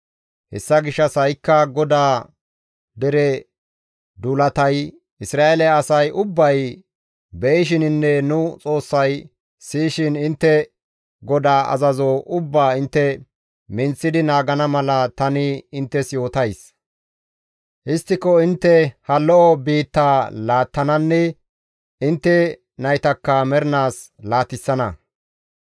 «Hessa gishshas ha7ikka GODAA dere duulatay, Isra7eele asay ubbay be7ishininne nu Xoossay siyishin, intte GODAA azazo ubbaa intte minththidi naagana mala tani inttes yootays; histtiko intte ha lo7o biittaa laattananne intte naytakka mernaas laatissana.